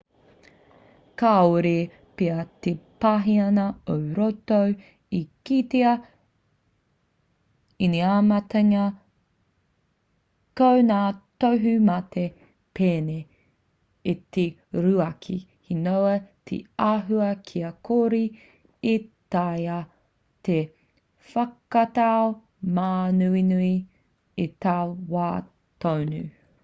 kāore pea te paihana ō roto e kitea inamatangia ko ngā tohu mate pēnei i te ruaki he noa te āhua kia kore e taea te whakatau māuiui i taua wā tonu